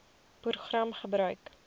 program gebruik